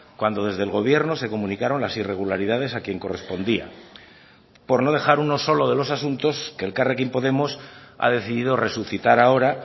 cuando desde el gobierno se comunicaron las irregularidades a quien correspondía por no dejar uno solo de los asuntos que elkarrekin podemos ha decidido resucitar ahora